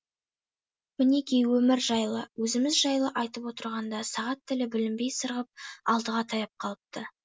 мінекей өмір жайлы өзіміз жайлы айтып отырғанда сағат тілі білінбей сырғып алтыға таяп қалыпты